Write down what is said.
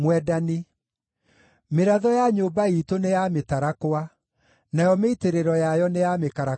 Mĩratho ya nyũmba iitũ nĩ ya mĩtarakwa; nayo mĩitĩrĩro yayo nĩ ya mĩkarakaba.